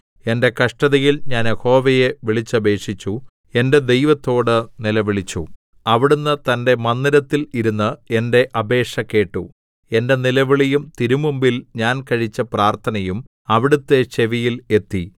എന്റെ കഷ്ടതയിൽ ഞാൻ യഹോവയെ വിളിച്ചപേക്ഷിച്ചു എന്റെ ദൈവത്തോട് നിലവിളിച്ചു അവിടുന്ന് തന്റെ മന്ദിരത്തിൽ ഇരുന്ന് എന്റെ അപേക്ഷ കേട്ടു എന്റെ നിലവിളിയും തിരുമുമ്പിൽ ഞാൻ കഴിച്ച പ്രാർത്ഥനയും അവിടുത്തെ ചെവിയിൽ എത്തി